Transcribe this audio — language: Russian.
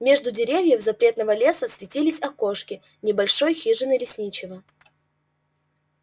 между деревьев запретного леса светились окошки небольшой хижины лесничего